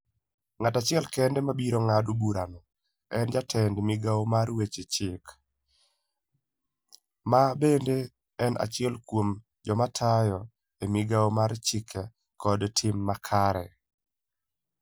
Ng'at achiel kende ma biro ng'ado burano en jatend migao mar Weche Chik, ma bende en achiel kuom joma tiyo e Migawo mar Chike kod Tim Makare.